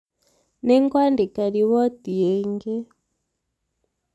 nĩngwandĩka riboti ingĩ